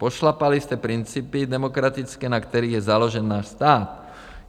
Pošlapali jste principy demokratické, na kterých je založen náš stát.